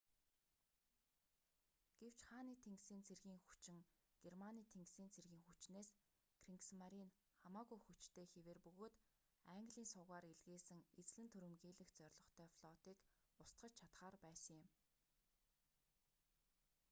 гэвч хааны тэнгисийн цэргийн хүчин германы тэнгисийн цэргийн хүчнээс кригсмаринь хамаагүй хүчтэй хэвээр бөгөөд английн сувгаар илгээсэн эзлэн түрэмгийлэх зорилготой флотыг устгаж чадахаар байсан юм